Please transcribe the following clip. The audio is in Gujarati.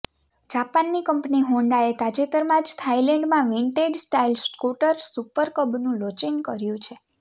જાપાનની કંપની હોન્ડાએ તાજેતરમાં જ થાઈલેન્ડમાં વિન્ટેજ સ્ટાઈલ સ્કૂટર સુપર કબનું લોચિંગ કર્યું છે